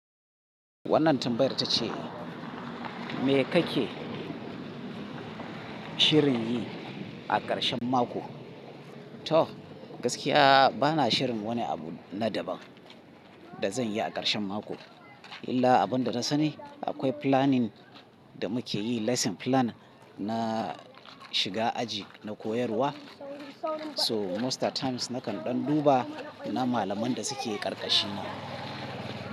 Wannan tambayar ta ce, me kake shirin yi a ƙarshen mako? To, gaskiya ba na shirin wani abu na daban da zan yi a ƙarshen mako. Illa abun da na sani akwai planning da muke yi lesson plan na shiga aji, na koyarwa. So most at times nakan ɗan duba na malamain da suke ƙarƙashina.